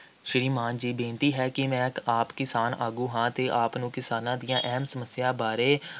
ਸ੍ਰੀਮਾਨ ਜੀ, ਬੇਨਤੀ ਹੈ ਕਿ ਮੈਂ ਇੱਕ ਆਪ ਕਿਸਾਨ ਆਗੂ ਹਾਂ ਅਤੇ ਆਪ ਨੂੰ ਕਿਸਾਨਾਂ ਦੀਆਂ ਅਹਿਮ ਸਮੱਸਿਆ ਬਾਰੇ